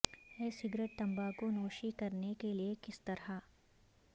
ای cigarette تمباکو نوشی کرنے کے لئے کس طرح